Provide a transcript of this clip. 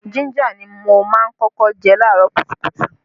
Jínjà ni mo má ń kọ́kọ́ jẹ laarọ kùtùkùtù